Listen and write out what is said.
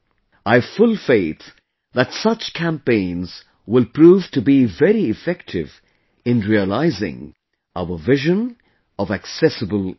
I have full faith that such campaigns will prove to be very effective in realizing our Vision of Accessible India